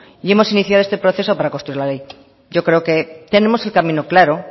y hemos iniciado este proceso para construir la ley yo creo que tenemos el camino claro